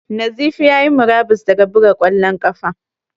Nazifi ya yi murabus daga buga ƙwallon ƙafa.